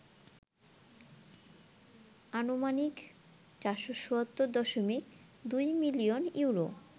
আনুমানিক ৪৭০.২ million euro